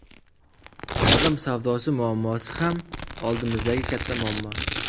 Odam savdosi muammosi ham oldimizdagi katta muammo.